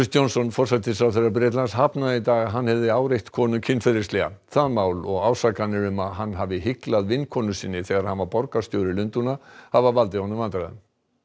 Johnson forsætisráðherra Bretlands hafnaði í dag að hann hefði áreitt konu kynferðislega það mál og ásakanir um að hann hafi hyglað vinkonu sinni þegar hann var borgarstjóri Lundúna hafa valdið honum vandræðum